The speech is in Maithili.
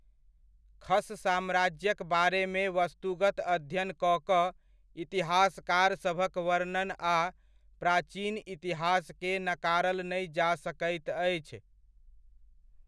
खश साम्राज्यक बारेमे वस्तुगत अध्ययन कऽ कऽ इतिहासकारसभक वर्णन आ प्राचीन इतिहासके नकारल नहि जा सकैत अछि।